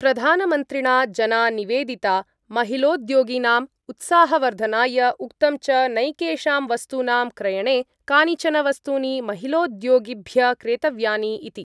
प्रधानमन्त्रिणा जना निवेदिता महिलोद्योगिनाम् उत्साहवर्धनाय, उक्तं च नैकेषां वस्तूनां क्रयणे कानिचन वस्तूनि महिलोद्योगिभ्य क्रेतव्यानि इति ।